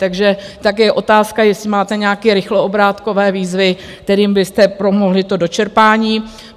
Takže také je otázka, jestli máte nějaké rychloobrátkové výzvy, kterými byste pomohli to dočerpání.